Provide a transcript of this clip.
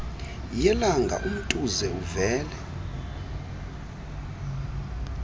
yelanga umtuze uvele